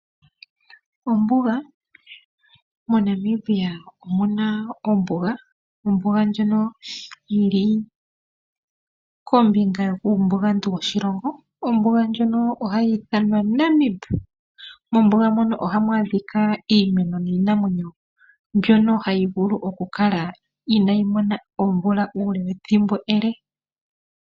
Ombuga. MoNamibia omuna ombuga, ndjono yili kombinga yuumbugantu woshilongo, ombuga ndjono ohayi ithwanwa "Namib". Mombuga mono ohamu adhika iimeno niinamwenyo, mbyono hayi vulu okukala inayi mona omvula uule wethimbo ele.